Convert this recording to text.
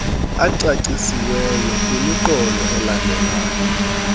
ecacisiweyo kwimiqolo elandelayo